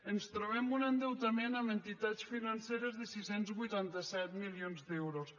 ens trobem un endeutament amb entitats financeres de sis cents i vuitanta set milions d’euros